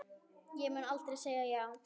Ég mun aldrei segja já.